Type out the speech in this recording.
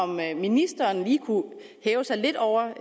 mig at ministeren lige kunne hæve sig lidt over